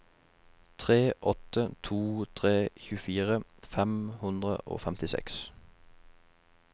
tre åtte to tre tjuefire fem hundre og femtiseks